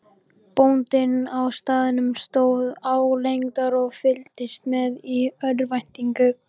Bóndinn á staðnum stóð álengdar og fylgdist með í örvæntingu.